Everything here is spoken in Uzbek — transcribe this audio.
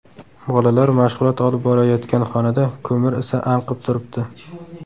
Bolalar mashg‘ulot olib borayotgan xonada ko‘mir isi anqib turibdi.